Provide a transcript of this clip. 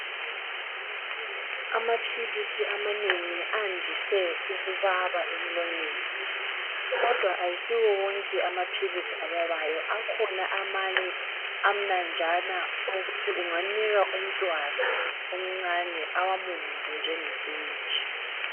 Aphilisi amanengi andise ukubaba emlonyeni kodwa ayisiwo wonke amaphilisi ababayo akhona amanye amnanjana okokuthi ungawanika umntwana omncinyane ukuthi awamumuze njengesiwiji.